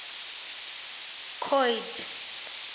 coid